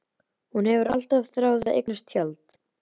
Hún hefur alltaf þráð að eignast tjald.